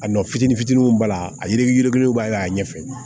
A nɔ fitinin fitininw b'a la a yirikuruw b'a kɛ a ɲɛfɛ